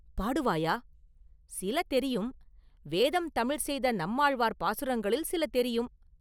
பாடுவாயா?” “சில தெரியும்; வேதம் தமிழ் செய்த நம்மாழ்வார் பாசுரங்களில் சில தெரியும்.